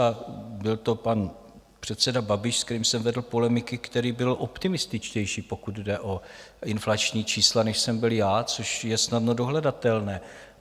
A byl to pan předseda Babiš, se kterým jsem vedl polemiky, který byl optimističtější, pokud jde o inflační čísla, než jsem byl já, což je snadno dohledatelné.